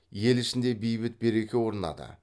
ел ішінде бейбіт береке орнады